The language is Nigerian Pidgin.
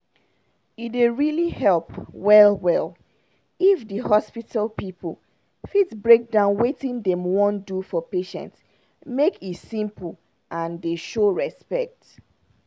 e dey really help well-well if di hospital people fit break down wetin dem wan do for patient make e simple and dey show respect.